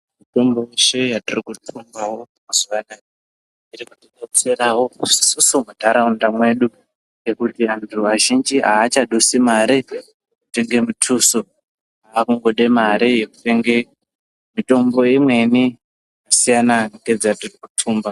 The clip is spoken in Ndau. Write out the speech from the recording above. Mitombo yeshe yatiri kuthumba mazuwa anaa iri kutidetserawo isusu munharaunda mwedu ngekuti antu azhinji aachadusi mare kutenge mutuso vaakungode mare yekutenge mitombo imweni yakasiyana ngedzatinothumba.